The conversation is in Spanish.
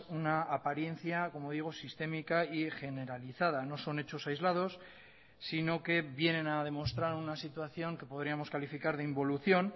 una apariencia como digo sistémica y generalizada no son hechos aislados sino que vienen a demostrar una situación que podríamos calificar de involución